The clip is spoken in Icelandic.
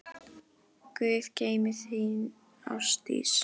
Guð geymi þig, þín, Ásdís.